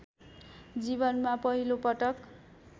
जीवनमा पहिलोपटक